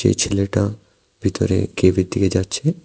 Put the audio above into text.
এই ছেলেটা ভিতরে কেভের দিকে যাচ্ছে।